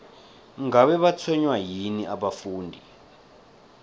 ngabe batshwenywa yini abafundi